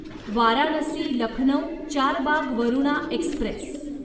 Varanasi Lucknow Charbagh Varuna Express